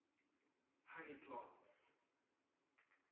honey plants